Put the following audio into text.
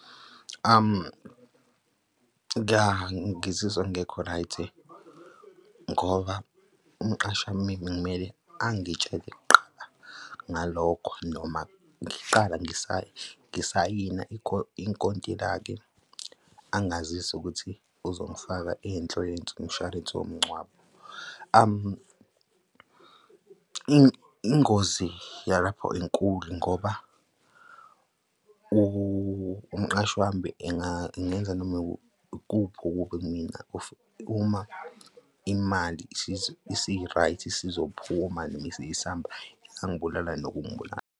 Ya, ngizizwa ngingekho-right ngoba umqashi wami kungamele, angitshele kuqala ngalokho noma ngiqala ngisayina inkontilaki, angazise ukuthi uzongifaka inhlo umshwalense womngcwabo. Ingozi yalapho inkulu ngoba umqashi wami engenza noma ikuphi kumina uma imali isi-right, isizophuma noma isiyisamba, ingangibulala nokungibulala.